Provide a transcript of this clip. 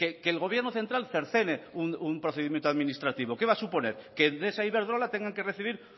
que el gobierno central cercene un procedimiento administrativo qué va a suponer que endesa e iberdrola tengan recibir